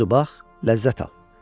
Budu bax, ləzzət al.